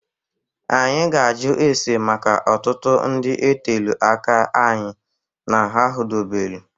Anyị ga-ajụ ese maka ọtụtụ ndị otelu aka anyị na ha hudobelu.